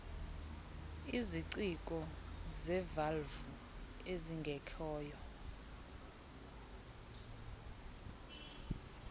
iziciko zevalvu ezingekhoyo